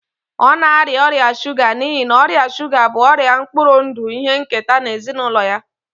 Ọ na-arịa ọrịa shuga n'ihi na ọrịa shuga bụ ọrịa mkpụrụ ndụ ihe nketa na ezinụlọ ya